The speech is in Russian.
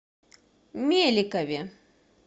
меликове